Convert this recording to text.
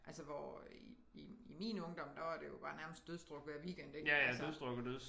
Altså hvor i i min ungdom der var det jo bare nærmest dødsdruk hver weekend ik altså